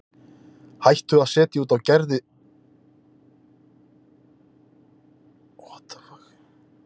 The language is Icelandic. Hættu að setja út á Gerði sagði Örn við sjálfan sig í huganum.